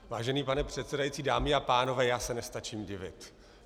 Vážený pane předsedající, dámy a pánové, já se nestačím divit.